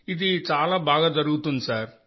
ఇది చాలా బాగా జరుగుతోంది సార్